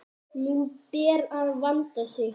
Nú ber að vanda sig!